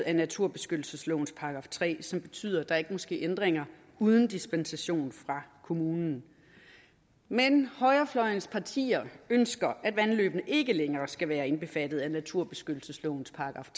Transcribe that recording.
af naturbeskyttelseslovens § tre som betyder at der ikke må ske ændringer uden dispensation fra kommunen men højrefløjens partier ønsker at vandløbene ikke længere skal være indbefattet af naturbeskyttelseslovens §